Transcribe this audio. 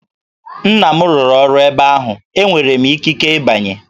Nna m rụrụ ọrụ ebe ahụ, enwere m ikike ịbanye!